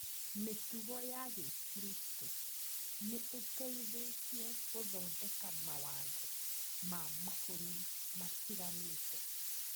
Mĩtugo ya gĩkristo nĩĩteithĩte gũthondeka mawatho ma mabũrũri matiganĩte.